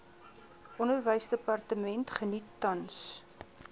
onderwysdepartement geniet tans